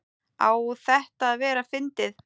Á þetta að vera fyndið?